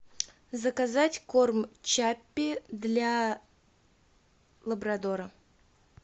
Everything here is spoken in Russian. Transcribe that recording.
заказать корм чаппи для лабрадора